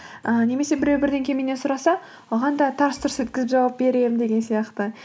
ыыы немесе біреу бірдеңе меннен сұраса оған да тарс тұрс еткізіп жауап беремін деген сияқты